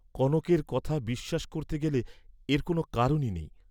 কনকের কথা বিশ্বাস করতে গেলে এর কোন কারণই নেই।